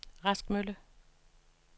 Rask Mølle